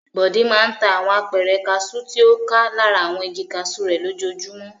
Bọ̀dé máa ń ta àwọn apẹ̀rẹ̀ kaṣú tí ó ká lára àwọn igi kaṣú rẹ̀ lójoojúmọ́.